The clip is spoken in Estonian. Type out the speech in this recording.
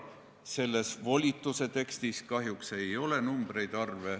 Selle volituse tekstis kahjuks arve ei ole.